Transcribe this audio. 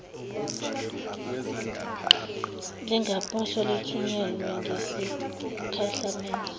lingaposwa lithunyelwe ngesikhahlamezi